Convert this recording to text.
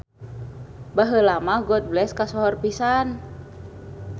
Baheula mah Goodbless kasohor pisan